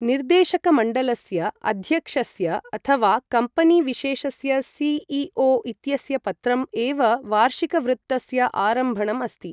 निर्देशकमण्डलस्य अध्यक्षस्य अथ वा कम्पनी विशेषस्य सि.ई.ओ. इत्यस्य पत्रम् एव वार्षिकवृत्तस्य आरम्भणम् अस्ति।